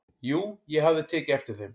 """Jú, ég hafði tekið eftir þeim."""